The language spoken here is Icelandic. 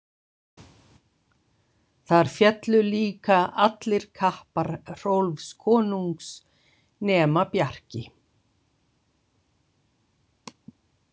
Þar féllu líka allir kappar Hrólfs konungs nema Bjarki.